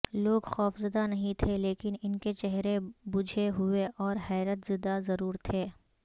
لوگ خوفزدہ نہیں تھے لیکن ان کے چہرے بجھے ہوئے اور حیرت زدہ ضرور تھے